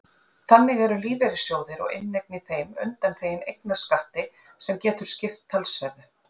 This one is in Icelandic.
Þannig eru lífeyrissjóðir og inneign í þeim undanþegin eignarskatti sem getur skipt talsverðu.